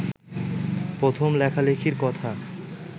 প্রথম লেখালেখির কথা